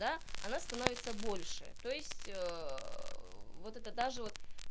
да она становится больше то есть вот это даже вот